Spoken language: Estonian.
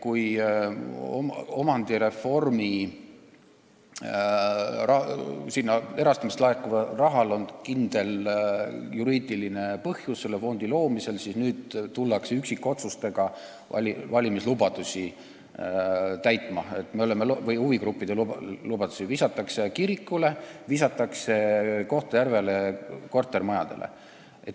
Kui omandireformi reservfondi erastamisest laekuval rahal, selle fondi loomisel oli kindel juriidiline põhjus, siis nüüd hakatakse üksikotsustega täitma valimislubadusi, mida on huvigruppidele antud: visatakse kirikule, visatakse Kohtla-Järve kortermajadele.